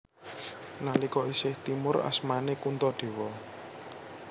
Nalika isih timur asmané Kuntadewa